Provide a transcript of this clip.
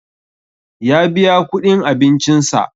Ya biya kuɗin abincin sa